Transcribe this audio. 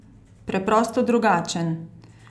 Preprosto drugačen?